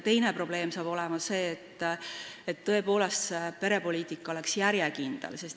Teine probleem hakkab olema see, et perepoliitika peab tõepoolest olema järjekindel.